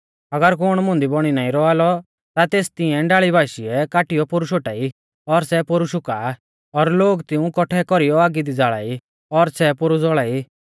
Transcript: अगर कुण मुंदी बौणी नाईं रौआ लौ ता तेस तिऐं डाल़ी बाशीऐ काटीऔ पोरु शोटाई और सै पोरु शुका आ और लोग तिऊं कौट्ठै कौरीयौ आगी दी ज़ाल़ा ई और सै पोरु ज़ौल़ाई